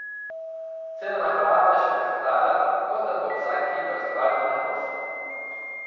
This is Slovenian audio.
Cela naprava je šklepetala, kot da bo vsak hip razpadla na kose.